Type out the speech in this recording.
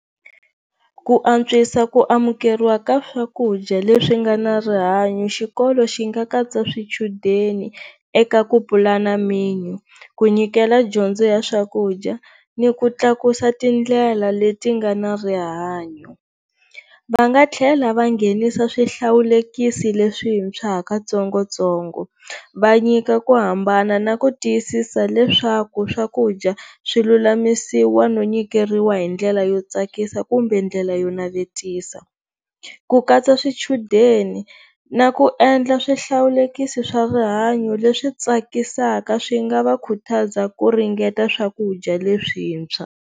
Ku antswisa ku amukeriwa ka swakudya leswi nga na rihanyo xikolo xi nga katsa swichudeni eka ku pulana menu ku nyikela dyondzo ya swakudya ni ku tlakusa tindlela leti nga na rihanyo, va nga tlhela va nghenisa swihlawulekisi leswitshwa ha ka tsongotsongo va nyika ku hambana na ku tiyisisa leswaku swakudya swilulamisiwa no nyikeriwa hi ndlela yo tsakisa kumbe ndlela yo navetisa. Ku katsa swichudeni na ku endla swihlawulekisi swa rihanyo leswi tsakisaka swi nga va khutaza ku ringeta swakudya leswintshwa.